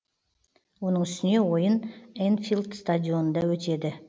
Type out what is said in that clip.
оның үстіне ойын энфилд стадионында өтеді